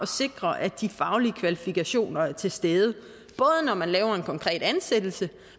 sikre at de faglige kvalifikationer er til stede både når man laver en konkret ansættelse